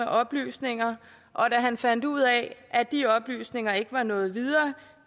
oplysninger og da han fandt ud af at de oplysninger ikke var nået videre